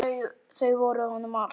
Þau voru honum allt.